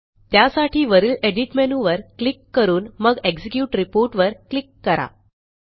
त्यासाठी वरील एडिट मेनूवर क्लिक करून मग एक्झिक्युट रिपोर्ट वर क्लिक करा